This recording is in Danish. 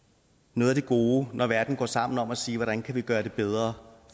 noget af det gode når verden går sammen om at sige hvordan vi kan gøre det bedre